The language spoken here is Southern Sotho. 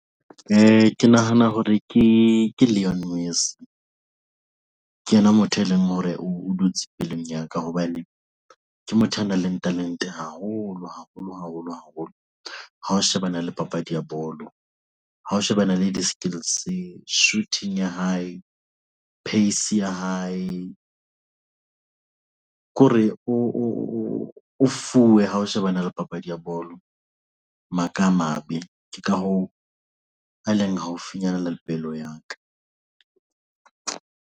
Ke nahana hore ke Eunice, ke yena motho e leng hore o dutse pelong ya ka hobane ke motho ya nang le talente haholo haholo haholo haholo. Ha ho shebana le papadi ya bolo ng ha ho shebana le di-skills shooting ya hae, pace ya hae ko re o fuwe hao shebana le papadi ya bolo maka a mabe ke ka hoo, a leng haufinyane le pelo ya ka.